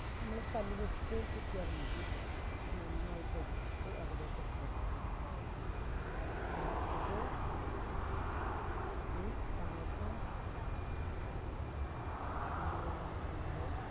നമ്മൾ ഒരു കല്ലിലിട്ടിട്ട് കുത്തിയാലും മതി. നന്നായി പൊടിച്ചിട്ട് അതിലേക്ക് ഇട്ടു കൊടുക്കുക. അതിട്ടിട്ട് ഈ പായസം എന്ത് ചെയ്യണം നമ്മള്